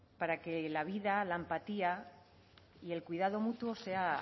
para que la vida la empatía y el cuidado mutuo sea